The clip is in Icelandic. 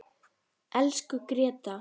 Elsku Gréta.